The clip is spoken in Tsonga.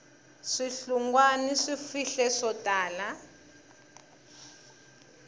swihlungwana swi fihle swo tala